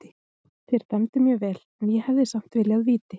Þeir dæmdu mjög vel en ég hefði samt viljað víti.